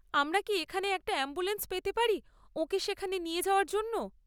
আমরা কি এখানে একটা অ্যাম্বুলেন্স পেতে পারি ওঁকে সেখানে নিয়ে যাওয়ার জন্য?